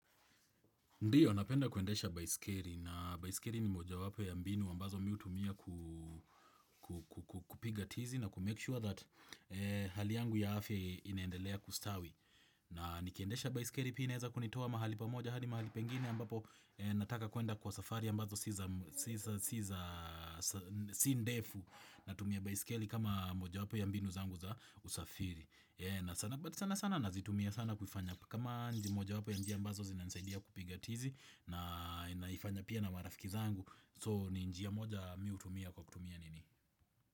Ndiyo, napenda kuendesha baiskeri na baiskeri ni mojawapo ya mbinu ambazo mi hutumia kupiga tizi na kumake sure that hali yangu ya afya inaendelea kustawi. Na nikiendesha baiskeri pia inaeza kunitoa mahali pamoja, hadi mahali pengine ambapo nataka kuenda kwa safari ambazo si ndefu natumia baiskeli kama mojawapo ya mbinu zangu za usafiri. Na sana but sana sana nazitumia sana kufanya kama mojawapo ya njia ambazo zinanisaidia kupiga tizi. Na naifanya pia na marafiki zangu So ni njia moja mi hutumia kwa kutumia nini.